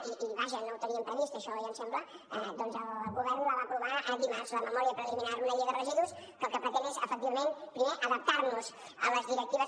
i vaja no ho teníem previst això oi em sembla que el govern la va aprovar dimarts la memòria preliminar una llei de residus que el que pretén és efectivament primer adaptar nos a les directives